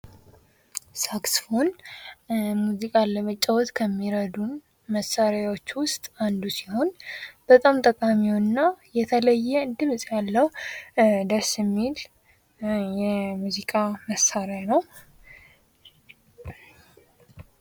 ሳክስፎን ሙዚቃን ለመጫዎት ከሚረዱ መሳሪያዎች ውስጥ አንዱ ሲሆን በጣም ጠቃሚው እና የተለየ ድምፅ ያለው ደስ የሚል የሙዚቃ መሳሪያ ነው።